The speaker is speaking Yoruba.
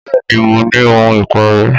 Bẹ́ẹ̀ ni, mo ní ohun ìparẹ́